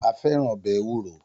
A fẹ́ràn ọbẹ̀ ewúro